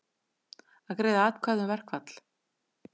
Greiða atkvæði um verkfall